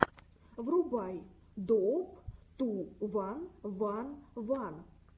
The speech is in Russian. врубай доуп ту ван ван ван